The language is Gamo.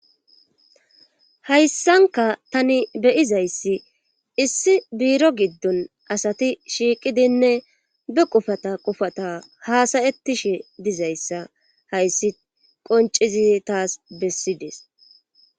Hayssanka tani beyizayssi issi biiro giddon asati shiiqidinne be qufata qufata haasayettishe dizayssa hayssi qoncizi taas bessides